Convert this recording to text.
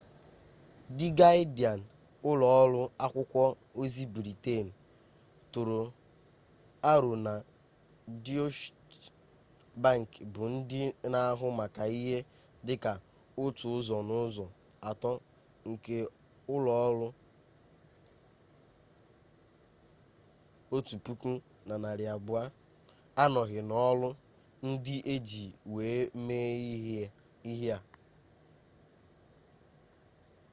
di gadịan ụlọ ọrụ akwụkwọ ozi briten tụrụ aro na deutsche bank bụ ndị na-ahụ maka ihe dị ka otu ụzọ n'ụzọ atọ nke ụlọ ọrụ 1200 anọghị n'ọrụ ndị e ji wee mee ihe a